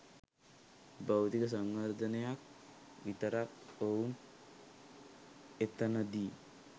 භෞතික සංවර්ධනයක් විතරක් ඔවුන් එතනදි